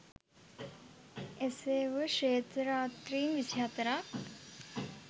එසේ වුව ශ්වේත රාත්‍රීන් විසිහතරක්